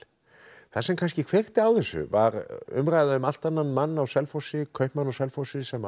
það sem kannski kveikti á þessu var umræða um allt annan mann á Selfossi kaupmann á Selfossi sem